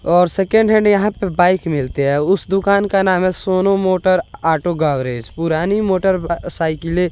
और second hand यहां पे बाइक मिलते हैं। उस दुकान का नाम है सोनू मोटर ऑटो गैरेज पुरानी मोटर साइकिलें --